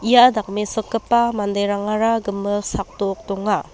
ia dakmesokgipa manderangara gimik sakdok donga.